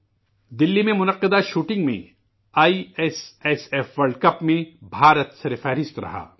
دلی میں منعقدہ شوٹنگ میں I S S F world cup میں ہندوستان سرفہرست رہا